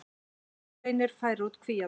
Silfurreynir færir út kvíarnar